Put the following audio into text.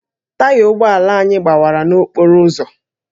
Taya ụgbọ ala anyị gbawara n'okporo ụzọ